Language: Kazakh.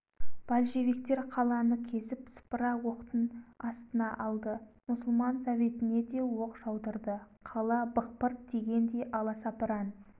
аз ғана уақытта съезді жанша осындай иманға келтірді сөзінің ақырында жанша петербордағы мұсылман советінде отырдық орыстың